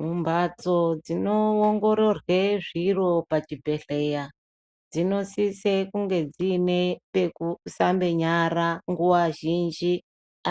Mu mbatso dzino ongororwe zviro pa chibhedhleya dzino sise kunge dziine peku sambe nyara nguva zhinji